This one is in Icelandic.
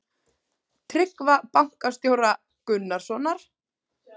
Tryggva bankastjóra Gunnarssonar.